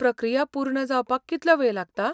प्रक्रिया पूर्ण जावपाक कितलो वेळ लागता?